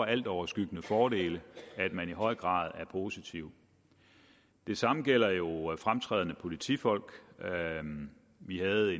altoverskyggende fordele at man i høj grad er positiv det samme gælder jo fremtrædende politifolk vi havde